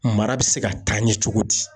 Mara bɛ se ka taa ɲɛ cogo di?